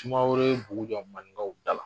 Sumaworo ye bugu jɔ maninkaw da la.